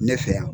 Ne fɛ yan